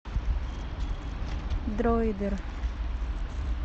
дроидер